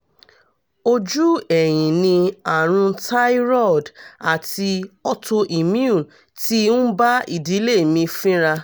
ojú ẹ̀yìn ni àrùn thyroid ati autoimmune ti ń bá ìdílé mi fínra